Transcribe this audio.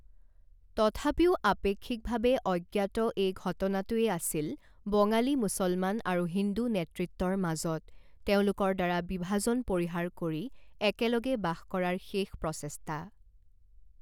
তথাপিও, আপেক্ষিকভাৱে অজ্ঞাত এই ঘটনাটোৱে আছিল বঙালী মুছলমান আৰু হিন্দু নেতৃত্বৰ মাজত তেওঁলোকৰ দ্বাৰা বিভাজন পৰিহাৰ কৰি একেলগে বাস কৰাৰ শেষ প্ৰচেষ্টা।